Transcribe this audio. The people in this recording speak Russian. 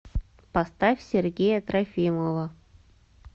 поставь сергея трофимова